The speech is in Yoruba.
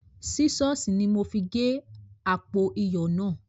Sísọ̀s ni mo fi gé àpò iyọ̀ náà